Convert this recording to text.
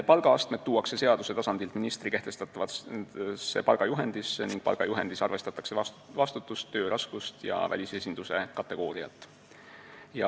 Palgaastmed tuuakse seaduse tasandilt ministri kehtestatavasse palgajuhendisse ning palgajuhendis arvestatakse vastutust, töö raskust ja välisesinduse kategooriat.